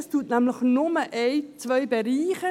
Es nennt nämlich nur ein, zwei Bereiche: